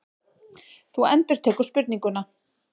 Þú endurtekur spurninguna.